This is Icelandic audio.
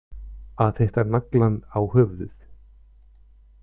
Að hitta naglann á höfuðið